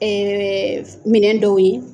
minɛn dɔw ye